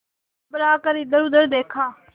घबरा कर इधरउधर देखा